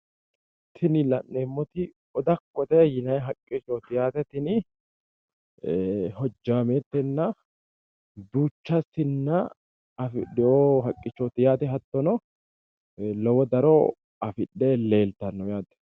Tini la'neemmoti odakkote yinanni haqqichooti yaate tini hojjaameettenna duucha sinna afidhino haqichooti yaate, hattono lowo daro afidhe leelttanno yaate.